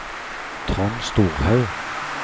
Trond Storhaug